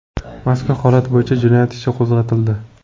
Mazkur holat bo‘yicha jinoyat ishi qo‘zg‘atildi.